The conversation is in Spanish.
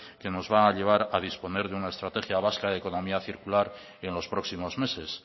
que nos va a llevar a disponer de una estrategia vasca de economía circular en los próximos meses